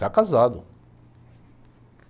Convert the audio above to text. Já casado.